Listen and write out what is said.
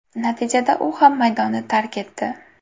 Natijada u ham maydonni tark etdi.